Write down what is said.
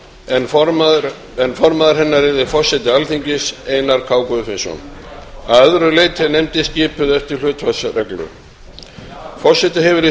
en formaður hennar yrði forseti alþingis einar k guðfinnsson að öðru leyti er nefndin skipuð eftir hlutfallsreglu forseti hefur í